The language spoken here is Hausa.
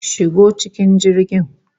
Shigo cikin jirgin!